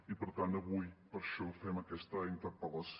i per tant avui per això fem aquesta interpel·lació